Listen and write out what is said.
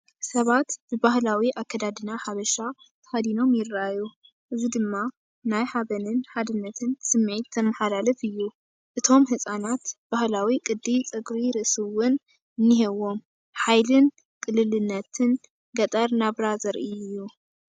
ሰባት ብባህላዊ ኣከዳድና ሓበሻ ተኸዲኖም ይረኣዩ፣ እዚ ድማ ናይ ሓበንን ሓድነትን ስምዒት ዘመሓላልፍ እዩ። እቶም ህጻናት ባህላዊ ቅዲ ጸጉሪ ርእሲ እውን እኒሄዎም። ሓይልን ቅልልነትን ገጠር ናብራ ዘርኢ እዩ።